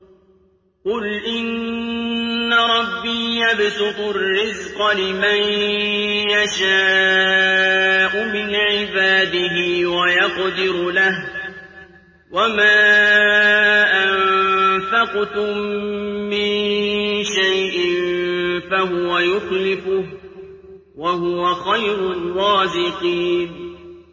قُلْ إِنَّ رَبِّي يَبْسُطُ الرِّزْقَ لِمَن يَشَاءُ مِنْ عِبَادِهِ وَيَقْدِرُ لَهُ ۚ وَمَا أَنفَقْتُم مِّن شَيْءٍ فَهُوَ يُخْلِفُهُ ۖ وَهُوَ خَيْرُ الرَّازِقِينَ